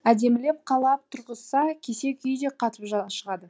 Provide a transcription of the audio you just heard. әдемілеп қалап тұрғызса кесек үй де қатып шығады